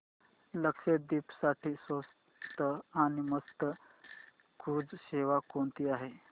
लक्षद्वीप साठी स्वस्त आणि मस्त क्रुझ सेवा कोणती आहे